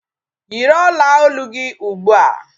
Yiri ọla olu gị ugbua!